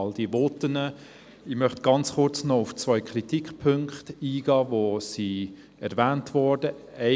Ich möchte noch kurz auf zwei Kritikpunkte eingehen, die erwähnt worden sind.